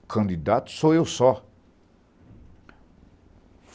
O candidato sou eu só.